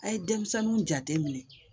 A' ye denmisɛnninw jateminɛ